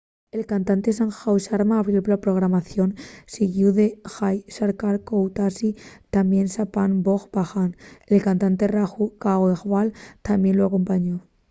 el cantante sanju sharma abrió la programación siguíu de jai shankar choudhary tamién chhappan bhog bhajan el cantante raju khandelwal tamién lu acompañó